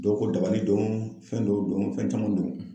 Dɔw ko dabali don fɛn dɔw don fɛn caman don.